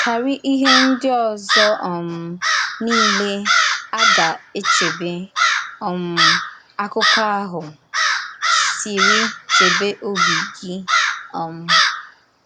Kárí íhè ndí òzò um niile a gà-àchèbè, um àkụ́kọ̀ ahụ sịrị, chèbè òbì gị. um